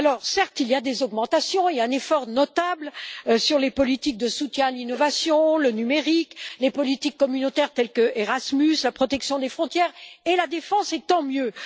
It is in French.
Certes, on note des augmentations et un effort notable sur les politiques de soutien à l'innovation, le numérique, les politiques communautaires telles qu'Erasmus, la protection des frontières et la défense, et c'est tant mieux.